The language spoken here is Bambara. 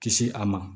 Kisi a ma